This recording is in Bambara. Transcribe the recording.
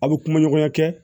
A bɛ kuma ɲɔgɔnya kɛ